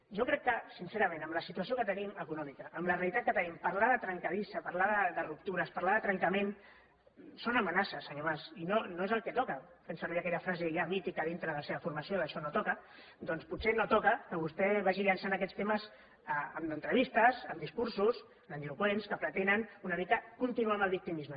jo crec que sincerament amb la situació que tenim econòmica amb la realitat que tenim parlar de trencadissa parlar de ruptures parlar de trencament sona a amenaça senyor mas i no no és el que toca fent servir aquella frase ja mítica dintre de la seva formació d’ això no toca doncs potser no toca que vostè vagi llançant aquests temes en entrevistes en discursos grandiloqüents que pretenen una mica continuar amb el victimisme